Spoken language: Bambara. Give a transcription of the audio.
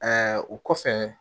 o kɔfɛ